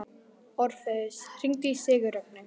Orfeus, hringdu í Sigurrögnu.